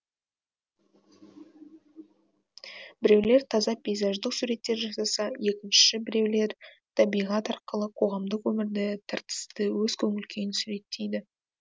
біреулер таза пейзаждық суреттер жасаса екінші біреулер табиғат арқылы қоғамдық өмірді тартысты өз көңіл күйін суреттейді